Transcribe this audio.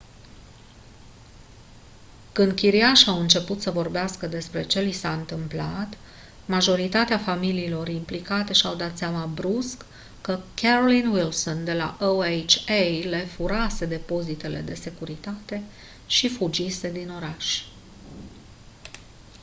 când chiriașii au început să vorbească despre ce li s-a întâmplat majoritatea familiilor implicate și-au dat seama brusc că carolyn wilson de la oha le furase depozitele de securitate și fugise din oraș